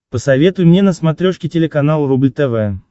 посоветуй мне на смотрешке телеканал рубль тв